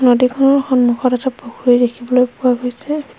নদীখনৰ সন্মুখত এটা পুখুৰী দেখিবলৈ পোৱা গৈছে।